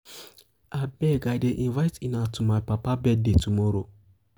abeg i dey invite una to my papa birthday tomorrow.